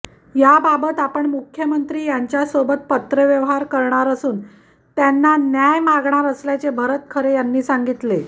याबाबत आपण मुख्यमंत्री यांच्यासोबत पत्रव्यवहार करणार असुन त्यांना न्याय मागनार असल्याचे भरत खरे यांनी सांगितले